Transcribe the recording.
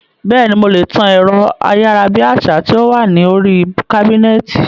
Bẹ́ẹ̀ni, mo lè tan ẹ̀rọ ayárabíàṣá tí ó wà ní oríi kábínẹ̀tì